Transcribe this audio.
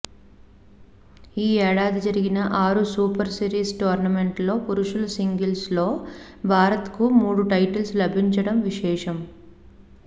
ఈఏడాది జరిగిన ఆరు super series టోర్నమెంట్లలో పురుషుల సింగిల్స్లో భారత్కు మూడు టైటిల్స్ లభించడం విశేషం